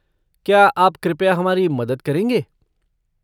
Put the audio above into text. क्या आप कृपया हमारी मदद करेंगे?